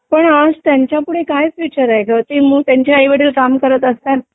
पण आज त्यांच्यापुढे काय फ्युचर आहे ग ते मुल त्यांच्या आई वडील काम करत असतात